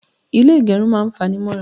Ilé ìgẹrun máa ń fanimọ́ra.